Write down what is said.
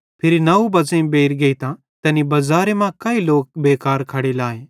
फिरी नौ बज़ेइं बेइर गेइतां तैनी बज़ारे मां काई लोक बेकार खड़े लाए